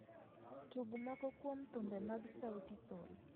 Tug moko kuom thumbe mag sauti sol